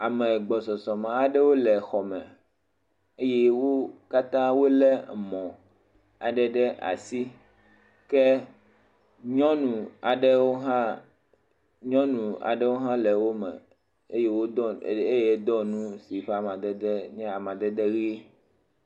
ame gbɔsɔsɔme aɖe le xɔme eye wó katã wóle emɔ tɔxɛaɖewo ɖe asi ke nyɔnu aɖewo hã le wó me eye wodɔ nu si ƒa madede le ɣi